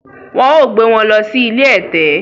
Wọn ó gbé wọn lọ sí ilé ẹ̀tẹ̀